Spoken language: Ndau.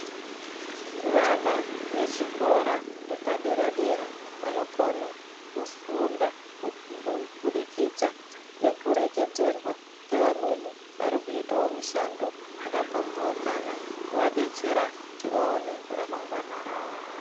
Vana vechikora chepadera dera vanokone kufunda nekureketerwa nevamweni varikuitawo mishando yakapambaukana kuvabetsera kuti vaone ramangwana ravo.